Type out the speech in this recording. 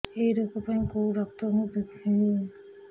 ଏଇ ରୋଗ ପାଇଁ କଉ ଡ଼ାକ୍ତର ଙ୍କୁ ଦେଖେଇବି